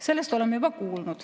Sellest oleme juba kuulnud.